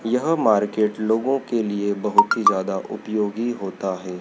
यह मार्केट लोगों के लिए बहोत ही ज्यादा उपयोगी होता है।